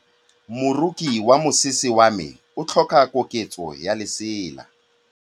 Moroki wa mosese wa me o tlhoka koketsô ya lesela.